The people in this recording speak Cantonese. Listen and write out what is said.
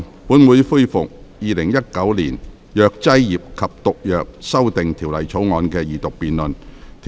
本會恢復《2019年藥劑業及毒藥條例草案》的二讀辯論。